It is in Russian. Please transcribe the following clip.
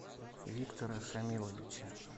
виктора шамиловича